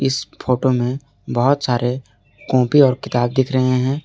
इस फोटो में बहुत सारे कॉपी और किताब दिख रहे हैं।